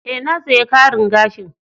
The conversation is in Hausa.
E,na saya karin gashin.